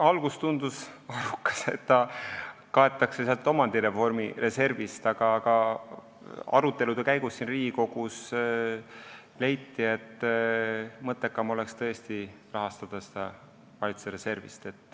Alguses tundus, et seda saab katta omandireformi reservist, aga arutelude käigus siin Riigikogus leiti, et mõttekam oleks tõesti rahastada seda valitsuse reservist.